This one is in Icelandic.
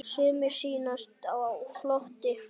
Sumir sýnast á floti.